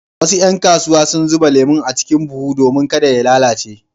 Wasu ƴan kasuwa sun zuba lemon a cikin buhu domin kada ya lalace.